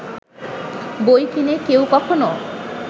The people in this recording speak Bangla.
বই কিনে কেউ কখনো